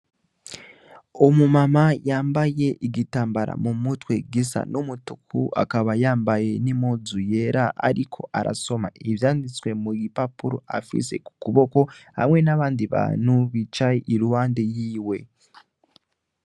Umu mama yambaye ibitambara mu umutwe gisa n'umutuku, akaba yambaye n'impuu yera ariko arasoma ivyanditswe mu gipapuro afise mu kuboko hamwe n'abandi bantu bicaye iruhande yiwe.